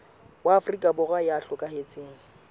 wa afrika borwa ya hlokahetseng